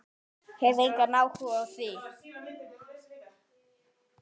Hef engan áhuga á því.